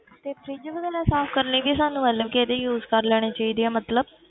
ਤੇ fridge ਵਗ਼ੈਰਾ ਸਾਫ਼ ਕਰਨ ਲਈ ਵੀ ਸਾਨੂੰ ਮਤਲਬ ਕਿ ਇਹਦੀ use ਕਰ ਲੈਣੀ ਚਾਹੀਦੀ ਹੈ ਮਤਲਬ